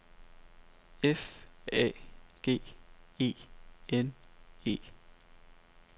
F A G E N E